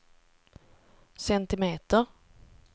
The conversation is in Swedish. centimeter